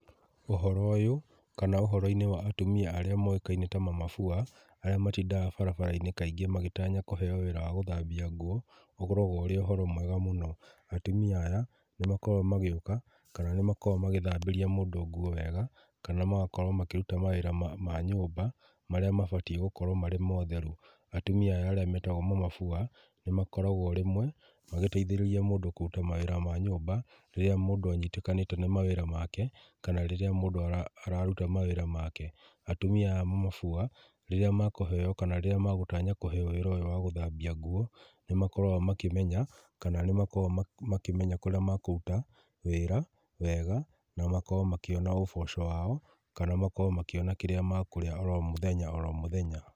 Ũhoro ũyũ, kana ũhoro-inĩ wa atumia arĩa moĩkaine ta mama fua, arĩa matindaga barabara-inĩ kaingĩ magĩtanya kuheo wĩra wa gũthambia nguo, ũkoragwo ũrĩ ũhoro mwega mũno. Atumia aya nĩmakoragwo magĩũka, kana nĩmakoragwo magĩthambĩria mũndũ nguo wega, kana magakorwo makĩruta mawĩra ma nyũmba marĩa mabatiĩ gũkorwo marĩ ma ũtheru. Atumia aya arĩa metagwo mama fua, nĩmakoragwo rĩmwe magĩteithĩrĩria mũndũ kũruta mawĩra ma nyũmba, rĩrĩa mũndũ anyitĩkanĩte nĩ mawĩra make kana rĩrĩa mũndũ araruta mawĩra make. Atumia aya mama fua, rĩrĩa makũheo, kana rĩrĩa magũtanya kũheo wĩra ũyũ wa gũthambia nguo, nĩmakoragwo makĩmenya kana nĩmakoragwo makĩmenya kũria mekũruta wĩra wega, na makorwo makĩona ũboco wao, kana makorwo makĩona kĩra makũrĩa oro mũthenya oro mũthenya.